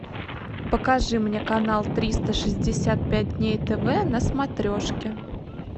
покажи мне канал триста шестьдесят пять дней тв на смотрешке